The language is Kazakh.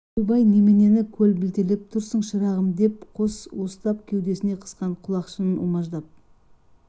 ойбай неменен көрбілтелеп тұрсың шырағым деді қос уыстап кеудесіне қысқан құлақшынын умаждап